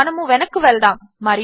మనము వెనక్కు వెళ్దాము